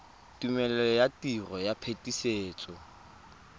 tumelelo ya tiro ya phetisetso